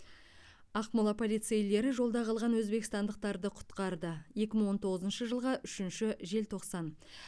ақмола полицейлері жолда қалған өзбекстандықтарды құтқарды екі мың он тоғызыншы жылғы үшінші желтоқсан